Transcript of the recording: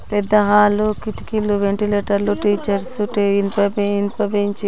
పెద్ద హాల కిటికీలు వెంటిలేటర్ లు టీచర్స్ --